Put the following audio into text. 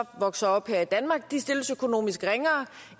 vokser op her i danmark stilles økonomisk ringere